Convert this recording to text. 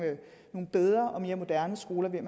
bedre og mere moderne skoler det